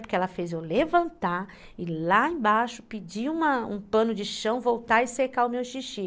Porque ela fez eu levantar e lá embaixo pedir uma um pano de chão, voltar e secar o meu xixi.